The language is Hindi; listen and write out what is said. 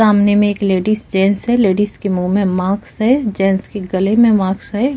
सामने में एक लेडीज जेन्ट्स है लेडीज के मुहँ में माक्स है जेन्ट्स के गले में माक्स है।